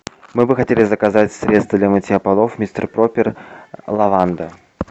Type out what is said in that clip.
мы бы хотели заказать средство для мытья полов мистер пропер лаванда